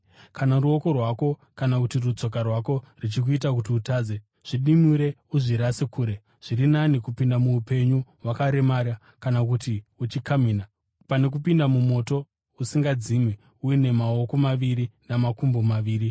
Kana ruoko rwako kana kuti rutsoka rwako zvichikuita kuti utadze, zvidimure uzvirasire kure. Zviri nani kupinda muupenyu wakaremara kana kuti uchikamhina, pano kupinda mumoto usingadzimi uine maoko maviri namakumbo maviri.